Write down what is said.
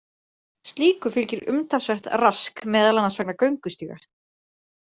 Slíku fylgir umtalsvert rask meðal annars vegna göngustíga.